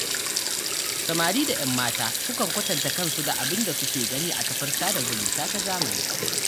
Samari da 'yan mata sukan kwatanta kansu da abin da suke gani a kafar sada zumunta ta zamani.